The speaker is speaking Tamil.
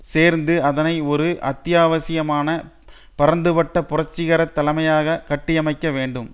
சேர்ந்து அதனை ஒரு அத்தியாவசியமான பரந்துபட்ட புரட்சிகர தலைமையாக கட்டியமைக்கவேண்டும்